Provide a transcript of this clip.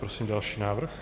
Prosím další návrh.